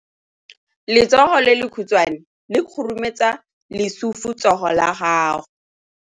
Letsogo le lekhutshwane le khurumetsa lesufutsogo la gago.